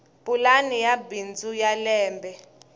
pulani ya bindzu ya lembe